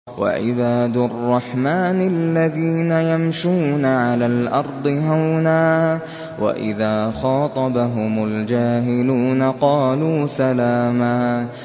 وَعِبَادُ الرَّحْمَٰنِ الَّذِينَ يَمْشُونَ عَلَى الْأَرْضِ هَوْنًا وَإِذَا خَاطَبَهُمُ الْجَاهِلُونَ قَالُوا سَلَامًا